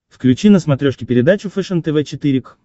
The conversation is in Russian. включи на смотрешке передачу фэшен тв четыре к